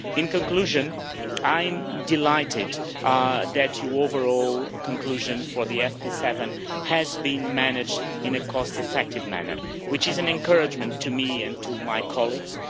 In conclusion, I am delighted that overall you concluded that the FP7 has been managed in a cost effective manner, which is an encouragement to me and to my colleagues.